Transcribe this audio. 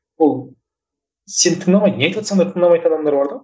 ол сені тыңдамайды не айтыватсаң да тыңдамайтын адамдар бар да